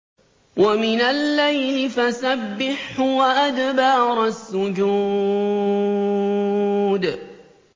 وَمِنَ اللَّيْلِ فَسَبِّحْهُ وَأَدْبَارَ السُّجُودِ